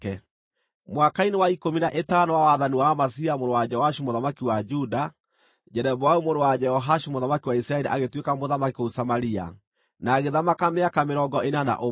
Mwaka-inĩ wa ikũmi na ĩtano wa wathani wa Amazia mũrũ wa Joashu mũthamaki wa Juda, Jeroboamu mũrũ wa Jehoashu, mũthamaki wa Isiraeli agĩtuĩka mũthamaki kũu Samaria, na agĩthamaka mĩaka mĩrongo ĩna na ũmwe.